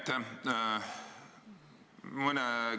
Aitäh!